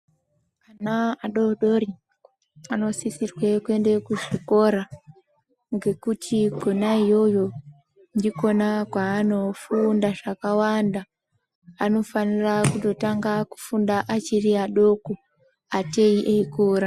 Ana adodori anosisirwe kuende kuzvikora ngekuti kona iyoyo ndikona kwaanofunda zvakawanda anofanira kutotanga kufunda achiri adoko ateyi eikura.